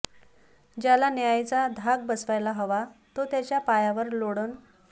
ज्याला न्यायाचा धाक बसवायला हवा तो त्याच्या पायावर लोळण